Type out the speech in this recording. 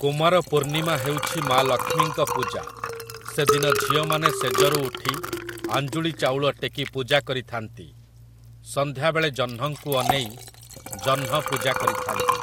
କୁମାରପୂର୍ଣ୍ଣିମା ହେଉଛି ମା ଲକ୍ଷ୍ମୀଙ୍କ ପୂଜା । ସେଦିନ ଝିଅମାନେ ଶେଯରୁ ଉଠି ଆଞ୍ଜୁଳି ଚାଉଳ ଟେକି ପୂଜା କରିଥାନ୍ତି । ସନ୍ଧ୍ୟାବେଳେ ଜହ୍ନଙ୍କୁ ଅନେଇ ଜହ୍ନ ପୂଜା କରିଥାନ୍ତି ।